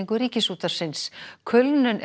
Ríkisútvarpsins kulnun er